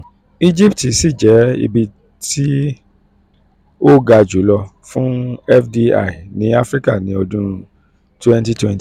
egypt ṣi jẹ ibi ṣi jẹ ibi ti o ga julọ fun fdi ni afirika ni ọdun twenty twenty